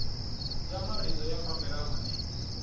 ya marito ya fambelana ni